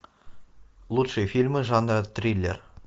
лучшие фильмы жанра триллер